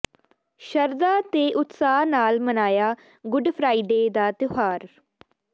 ਸ਼ਰਧਾ ਤੇ ਉਤਸ਼ਾਹ ਨਾਲ ਮਨਾਇਆ ਗੁੱਡ ਫਰਾਈਡੇ ਦਾ ਤਿਉਹਾਰ